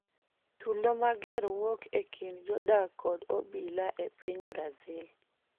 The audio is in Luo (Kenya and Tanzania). Tulo mager wuok e kind jodak kod obila e piny Brazil